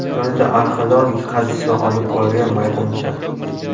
Yonida arxeologik qazishma olib borilgan maydoncha.